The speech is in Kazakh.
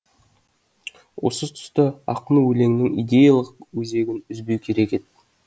осы тұста ақын өлеңнің идеялық өзегін үзбеу керек еді